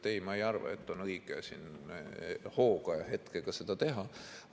Ei, ma ei arva, et on õige hooga ja hetkega seda teha.